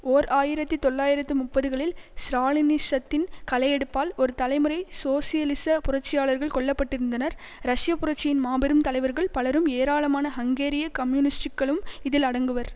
ஓர் ஆயிரத்தி தொள்ளாயிரத்து முப்பதுகளில் ஸ்ராலினிசத்தின் களையெடுப்பால் ஒரு தலைமுறை சோசியலிச புரட்சியாளர்கள் கொல்ல பட்டிருந்தனர் ரஷ்ய புரட்சியின் மாபெரும் தலைவர்கள் பலரும் ஏராளமான ஹங்கேரிய கம்யூனிஸ்ட்டுக்களும் இதில் அடங்குவர்